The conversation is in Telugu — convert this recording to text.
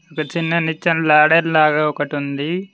ఒక చిన్న నిచ్చన లాడర్ లాగా ఒకటి ఉంది